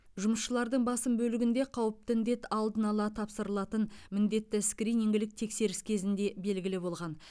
жұмысшылардың басым бөлігінде қауіпті індет алдын ала тапсырылатын міндетті скринингілік тексеріс кезінде белгілі болған